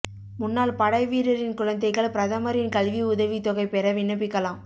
முன்னாள் படைவீரரின் குழந்தைகள் பிரதமரின் கல்வி உதவித் தொகை பெற விண்ணப்பிக்கலாம்